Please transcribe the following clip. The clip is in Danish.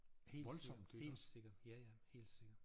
Helt sikkert helt sikkert ja ja helt sikkert